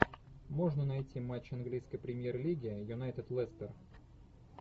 можно найти матч английской премьер лиги юнайтед лестер